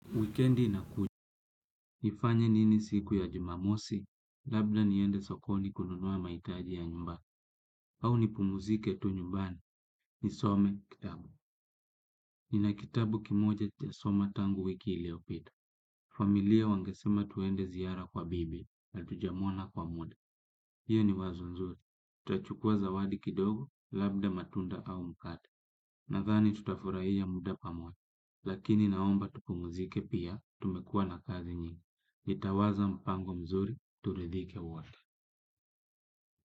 Wikendi na kujua, nifanya nini siku ya jumamosi, labda niende sokoni kununua mahitaji ya nyumba, au nipumuzike tu nyumbani, nisome kitabu. Nina kitabu kimoja sijasoma tangu wiki iliyopita. Familia wangesema twende ziara kwa bibi, hatujamwona kwa muda. Hiyo ni wazo nzuri, tachukua zawadi kidogo, labda matunda au mkate, nadhani tutafurahia muda pamoja. Lakini naomba tupumuzike pia, tumekuwa na kazi nyingi. Nitawaza mpango mzuri turidhike wote.